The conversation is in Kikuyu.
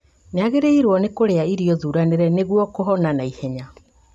Nĩagĩrĩirwo nĩ kũrĩa irio thuranĩre nĩguo kũhona naihenya